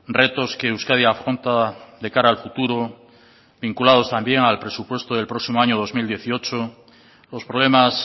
retos que euskadi afronta de cara al futuro vinculados también al presupuesto del próximo año dos mil dieciocho los problemas